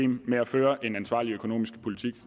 med at føre en ansvarlig økonomisk politik